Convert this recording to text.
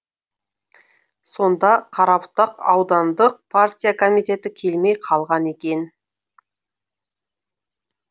сонда қарабұтақ аудандық партия комитеті келмей қалған екен